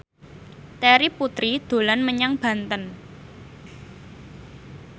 Terry Putri dolan menyang Banten